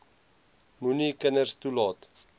moenie kinders toelaat